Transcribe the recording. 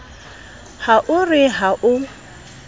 ha o re ha o